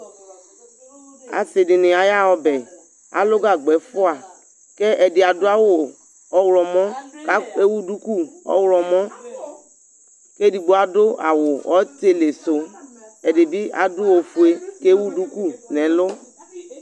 Asɩdnɩ ayaɣa ɔbɛ alʋ gagba ɛfʋa Kɛ ɛdɩ zdʋ awʋ ɔɣlɔmɔ , ka ewu duku ɔɣlɔmɔ; k'edigbo adʋ awʋ ɔtɩlɩsʋ , ɛdɩbɩ adʋ ofue k'ewu duku n'ɛlʋ